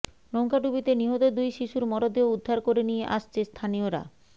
নৌকাডুবিতে নিহত দুই শিশুর মরদেহ উদ্ধার করে নিয়ে আসছে স্থানীয়রা